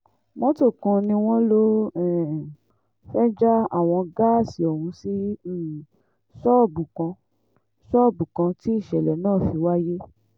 mọ́tò kan ni wọ́n lọ́ọ́ um fẹ́ẹ́ já àwọn gáàsì ọ̀hún sí um ṣọ́ọ̀bù kan ṣọ́ọ̀bù kan tí ìṣẹ̀lẹ̀ náà fi wáyé